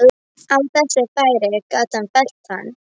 Löngunin var svo sterk þennan dag að ég nötraði.